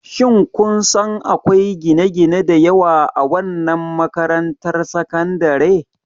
Shin kun san akwai gine-gine da yawa a wannan makarantar sakandare?